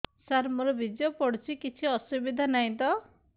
ସାର ମୋର ବୀର୍ଯ୍ୟ ପଡୁଛି କିଛି ଅସୁବିଧା ନାହିଁ ତ